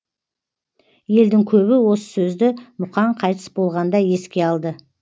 елдің көбі осы сөзді мұқаң қайтыс болғанда еске алды